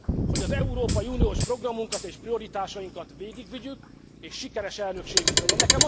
hogy az európai uniós programunkat és prioritásainkat végigvigyük, és sikeres elnökségünk legyen.